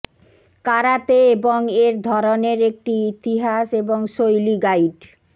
karate এবং এর ধরনের একটি ইতিহাস এবং শৈলী গাইড